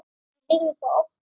Ég heyrði það oft.